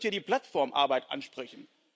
Ich möchte hier die Plattformarbeit ansprechen.